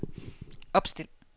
opstil